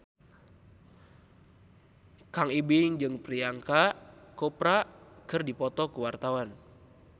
Kang Ibing jeung Priyanka Chopra keur dipoto ku wartawan